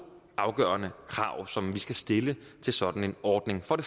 afgørende krav som skal stilles til sådan en ordning for